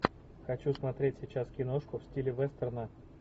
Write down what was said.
хочу смотреть сейчас киношку в стиле вестерна